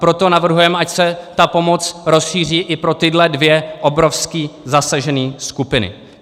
Proto navrhujeme, ať se ta pomoc rozšíří i pro tyhle dvě obrovské zasažené skupiny.